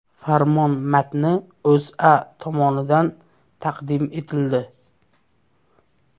Farmon matni O‘zA tomonidan taqdim etildi.